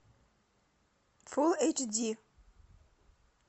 фулл эйч ди